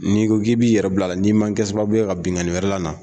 Nii ko k'i yɛrɛ bila la n'i ma kɛ sababu ka binkani wɛrɛ la na